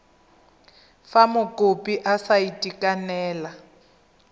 fa mokopi a sa itekanela